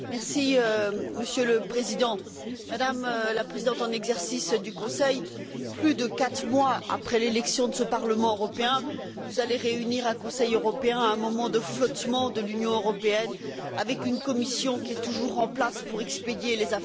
Monsieur le Président, Madame la Présidente en exercice du Conseil, plus de quatre mois après l'élection de ce Parlement européen, vous allez réunir un Conseil européen à un moment de flottement de l'Union européenne, avec une Commission qui est toujours en place pour expédier les affaires courantes.